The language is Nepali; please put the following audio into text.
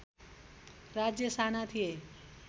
राज्य साना थिए